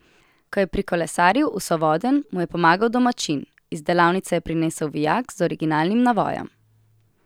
Ko je prikolesaril v Sovodenj, mu je pomagal domačin: "Iz delavnice je prinesel vijak z originalnim navojem.